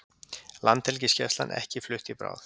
Landhelgisgæslan ekki flutt í bráð